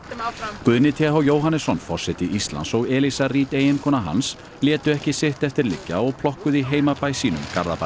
Guðni t h Jóhannesson forseti Íslands og Eliza Reid eiginkona hans létu ekki sitt eftir liggja og plokkuðu í heimabæ sínum Garðabæ